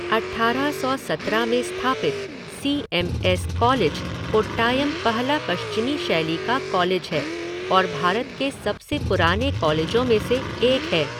अट्ठारह सौ सत्रह में स्थापित C M S college, Kottayam पहला पश्चिमी शैली का कॉलेज है और भारत के सबसे पुराने कॉलेजों में से एक है।